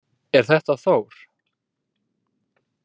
Er þetta Þór?